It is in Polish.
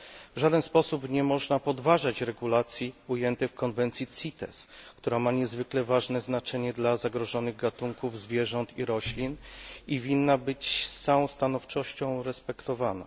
W żaden sposób nie można podważać regulacji ujętych w konwencji CITES, która ma niezwykle ważne znaczenie dla zagrożonych gatunków zwierząt i roślin i powinna być z całą stanowczością przestrzegana.